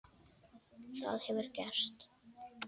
Það hefur gerst.